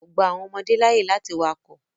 Wọn kò gba àwọn ọmọdé láàyè láti wakọ̀.